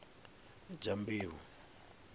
dyambeu